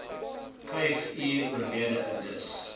vyfuur oorlede dis